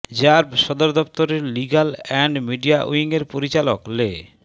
RAB সদর দফতরের legal and media উইংয়ের পরিচালক লে